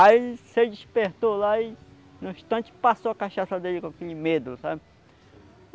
Aí ele se despertou lá e no instante passou a cachaça dele com aquele medo, sabe?